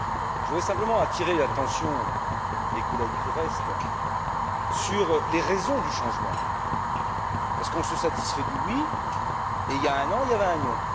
Je voudrais simplement attirer l'attention des collègues qui restent sur les raisons du changement, parce qu'on se satisfait du oui et, il y a un an, il y avait un non.